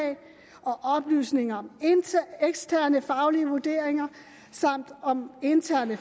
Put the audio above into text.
og oplysninger om eksterne faglige vurderinger samt om interne